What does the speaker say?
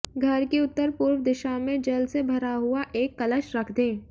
घर की उत्तर पूर्व दिशा में जल से भरा हुआ एक कलश रख दें